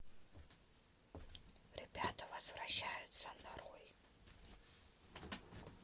ребята возвращаются нарой